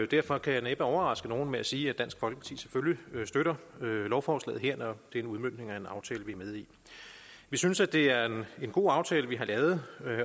derfor kan jeg næppe overraske nogen med at sige at dansk folkeparti selvfølgelig støtter lovforslaget her når det en udmøntning af en aftale vi er med i vi synes at det er en god aftale vi har lavet